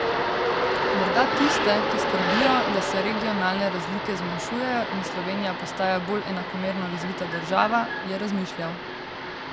Morda tiste, ki skrbijo, da se regionalne razlike zmanjšujejo in Slovenija postaja bolj enakomerno razvita država, je razmišljal.